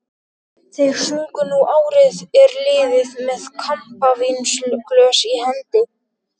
Þeir sungu Nú árið er liðið með kampavínsglös í hendi.